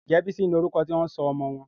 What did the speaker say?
Njé Bisola ní orúko tí wón sọ ọmọ wón?